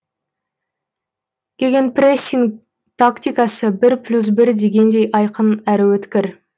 гегенпрессинг тактикасы бір плюс бір дегендей айқын әрі өткір